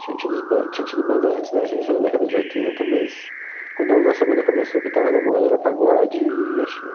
Tinha tido os ban, tinha tido bandas antes da gente, na década de oitenta, mas quando a nossa banda começou, o que estava na moda era pagode e axé.